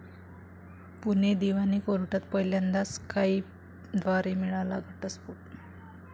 पुणे दिवाणी कोर्टात पहिल्यांदाच 'स्काईप'द्वारे मिळाला घटस्फोट